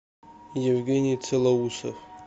евгений целоусов